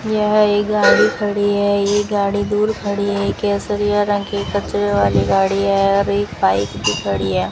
यह एक गाड़ी खड़ी है ये गाड़ी दूर खड़ी है केसरिया रंग के कचरे वाली गाड़ी है और एक बाइक भी खड़ी है।